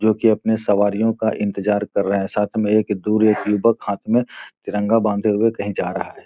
जो की अपनी सवारियों का इंतज़ार कर रहे हैं साथ में एक दो लोग तिरंगा बांधे हुए कहीं जा रहा है।